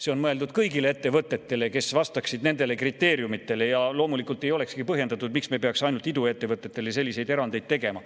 See on mõeldud kõigile ettevõtetele, kes vastaksid nendele kriteeriumidele, ja loomulikult ei olekski põhjendatud, miks me peaks ainult iduettevõtetele selliseid erandeid tegema.